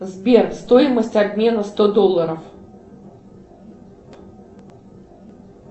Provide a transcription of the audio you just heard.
сбер стоимость обмена сто долларов